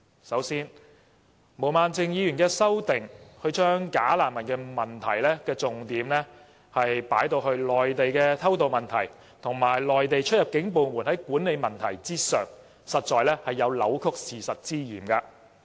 首先，毛孟靜議員的修正案將"假難民"的問題重點放在內地的偷渡問題，以及內地出入境部門的管理問題上，實在有扭曲事實之嫌。